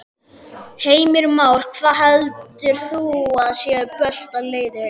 Heimir Már: Hvað heldur þú að sé besta leiðin?